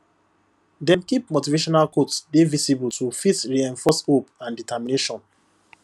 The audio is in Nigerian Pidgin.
dem keep motivational quotes dey visible to fit reinforce hope and determination